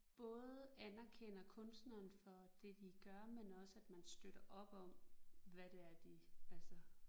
Både anerkender kunstneren for det de gør men også at man støtter op om hvad det er de altså